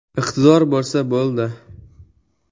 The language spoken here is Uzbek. Iqtidor bo‘lsa bo‘ldi.